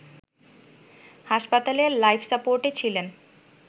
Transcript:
হাসপাতালে লাইফ সাপোর্টে ছিলেন